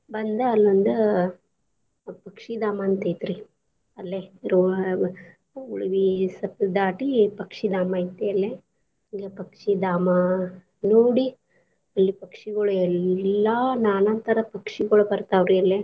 ಬಂದ ಅಲ್ಲೋಂದ ಪಕ್ಷಿಧಾಮ ಅಂತ್ ಐತ್ರೀ ಅಲ್ಲೆ ಉಳವಿ ಸ್ವಲ್ಪ ದಾಟಿ ಪಕ್ಷಿಧಾಮ ಐತಿ ಅಲ್ಲೆ, ಹಂಗೆ ಪಕ್ಷಿಧಾಮ ನೋಡಿ ಅಲ್ಲಿ ಪಕ್ಷಿಗಳು ಎಲ್ಲಾ ನಾನಾ ತರ ಪಕ್ಷಿಗಳು ಬರ್ತಾವ್ ರಿ ಅಲ್ಲೆ.